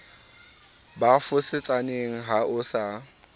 ba fosetsaneng ha o sa